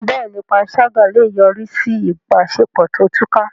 Bẹ́ẹ̀ni, panṣágà lè yọrí sí ìbáṣepọ̀ tó túká.